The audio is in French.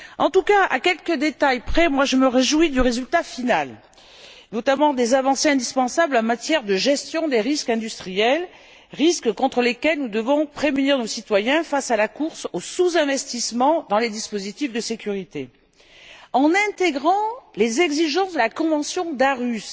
En tout cas, à quelques détails près, je me réjouis du résultat final, notamment des avancées indispensables en matière de gestion des risques industriels, risques contre lesquels nous devons prémunir nos citoyens face à la course au sous investissement dans les dispositifs de sécurité, en intégrant les exigences de la convention d'Aarhus.